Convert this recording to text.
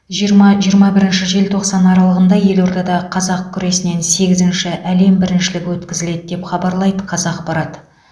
жиырма жиырма бірінші желтоқсан аралығында елордада қазақ күресінен сегізінші әлем біріншілігі өткізіледі деп хабарлайды қазақпарат